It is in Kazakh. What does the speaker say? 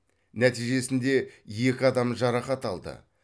нәтижесінде екі адам жарақат алды